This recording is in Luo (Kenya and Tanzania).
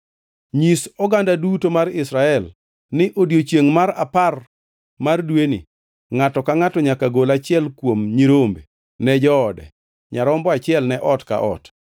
Nyis oganda duto mar Israel ni odiechiengʼ mar apar mar dweni, ngʼato ka ngʼato nyaka gol achiel kuom nyirombe ne joode, nyarombo achiel ne ot ka ot.